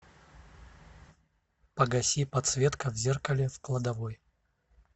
погаси подсветка в зеркале в кладовой